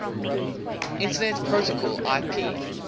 internet protocol ip